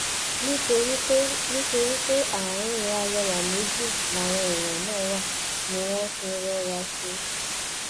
nítorí pé nítorí pé àárín arẹwà méjì làwọn èèyàn náà wà ni wọn fi ń rọra ṣe